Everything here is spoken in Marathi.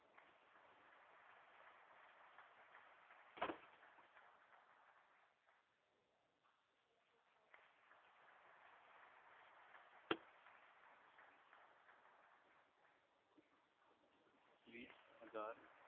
वीस हजार